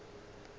le ge ba be ba